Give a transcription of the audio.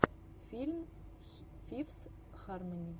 фильм фифс хармони